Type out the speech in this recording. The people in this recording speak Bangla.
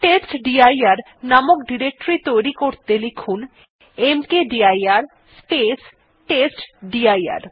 টেস্টডির নামক ডিরেক্টরী তৈরী করতে লিখুন মকদির স্পেস টেস্টডির